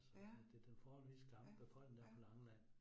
Ja. Ja, ja